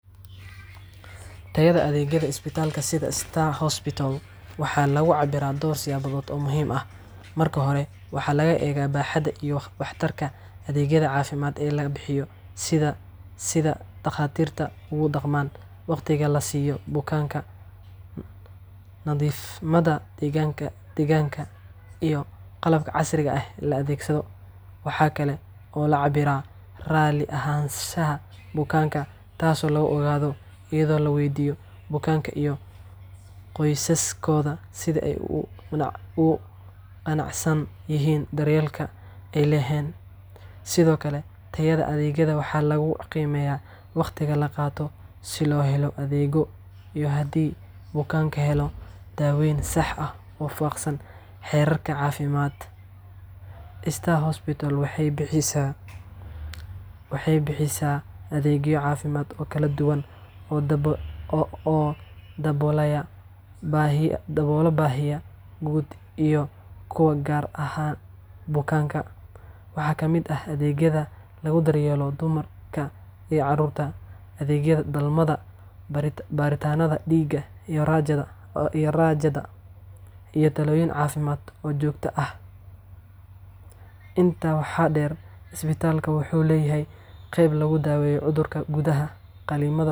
Tayada adeegyada isbitaalka sida Star Hospital waxaa lagu cabbiraa dhowr siyaabood oo muhiim ah. Marka hore, waxaa la eega baaxadda iyo waxtarka adeegyada caafimaad ee la bixiyo, sida sida dhakhaatiirta u dhaqmaan, waqtiga la siiyo bukaanka, nadiifnimada deegaanka, iyo qalabka casriga ah ee la adeegsado. Waxaa kale oo la cabbiraa raalli ahaanshaha bukaanka, taasoo lagu ogaado iyada oo la weydiiyo bukaanka iyo qoysaskooda sida ay ugu qanacsan yihiin daryeelka ay heleen. Sidoo kale, tayada adeegyada waxaa lagu qiimeeyaa waqtiga la qaato si loo helo adeeg, iyo haddii bukaanku helaan daaweyn sax ah oo waafaqsan xeerarka caafimaadka. Star Hospital waxay bixisaa adeegyo caafimaad oo kala duwan oo daboolaya baahiyaha guud iyo kuwa gaar ah ee bukaanka. Waxaa ka mid ah adeegyada lagu daryeelo dumarka iyo carruurta, adeegyada dhalmada, baaritaanada dhiigga iyo raajada, iyo talooyin caafimaad oo joogto ah. Intaa waxaa dheer, isbitaalka wuxuu leeyahay qayb lagu daweeyo cudurrada gudaha, qalliimada.